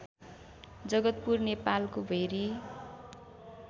जगतपुर नेपालको भेरी